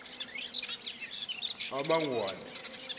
amangwane